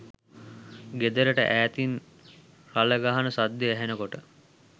ගෙදරට ඈතින් රළ ගහන සද්දෙ ඇහෙන කොට